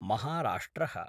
Maharashtra: